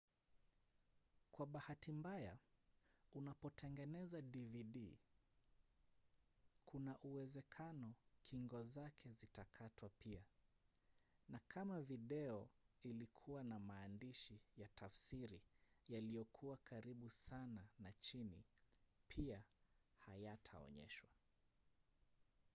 kwa bahati mbaya unapotengeneza dvd kuna uwezekano kingo zake zitakatwa pia na kama video ilikuwa na maandishi ya tafsiri yaliyokuwa karibu sana na chini pia hayataonyeshwa